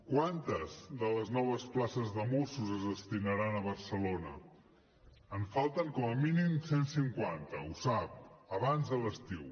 quantes de les noves places de mossos es destinaran a barcelona en falten com a mínim cent cinquanta ho sap abans de l’estiu